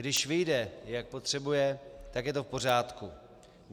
Když vyjde, jak potřebuje, tak je to v pořádku.